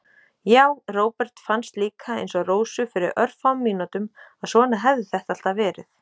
Já, Róbert fannst líka, einsog Rósu fyrir örfáum mínútum, að svona hefði þetta alltaf verið.